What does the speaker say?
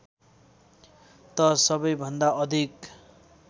त सबैभन्दा अधिक